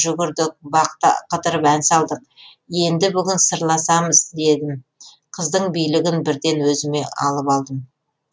жүгірдік бақта қыдырып ән салдық енді бүгін сырласамыз дедім қыздың билігін бірден өзіме алып алдым